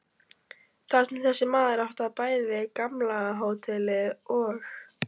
Þar sem þessi maður átti bæði gamla hótelið og